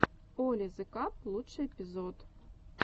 оли зе каб лучший эпизод